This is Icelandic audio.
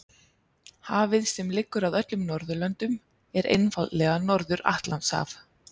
Hafið sem liggur að öllum Norðurlöndum er einfaldlega Norður- Atlantshaf.